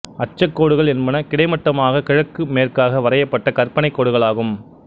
அட்சக்கோடுகள் என்பன கிடைமட்டமாக கிழக்கு மேற்காக வரையப்பட்ட கற்பனைக் கோடுகள் ஆகும்